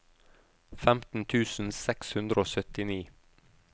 femten tusen seks hundre og syttini